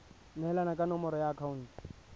neelana ka nomoro ya akhaonto